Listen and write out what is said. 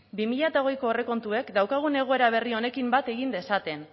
bi mila hogeiko aurrekontuek daukagun egoera berri honekin bat egin dezaten